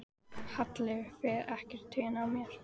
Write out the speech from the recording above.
Halli fer ekkert í taugarnar á mér.